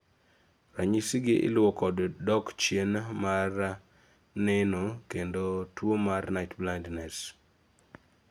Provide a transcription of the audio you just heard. ranyisi gi iluo kod dok chien mar neno kendo tuo mar night blindness